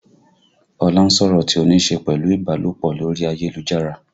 Ọlá ń sọ̀rọ̀ tí ó níṣe pẹ̀lú ìbálòpọ̀ lórí ayélujára